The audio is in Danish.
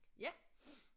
Ja